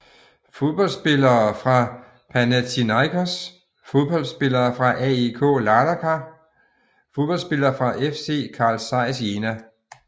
Fodboldspillere fra Panathinaikos Fodboldspillere fra AEK Larnaka Fodboldspillere fra FC Carl Zeiss Jena